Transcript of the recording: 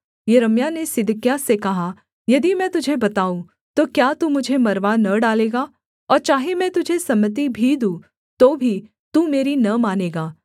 यिर्मयाह ने सिदकिय्याह से कहा यदि मैं तुझे बताऊँ तो क्या तू मुझे मरवा न डालेगा और चाहे मैं तुझे सम्मति भी दूँ तो भी तू मेरी न मानेगा